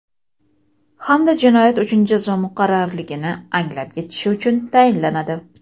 hamda jinoyat uchun jazo muqarrarligini anglab yetishi uchun tayinlanadi.